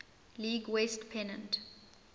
league west pennant